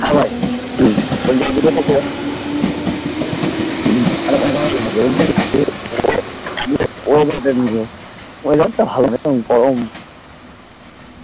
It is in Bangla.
হ্যাঁ ভাই উম বলছি উম আরে ওটানা বলছি যে ও সামনের দিকে weather তা ভালো একদম গরম